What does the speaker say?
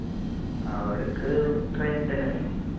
അവിടേക്ക് train ൽ തന്നെ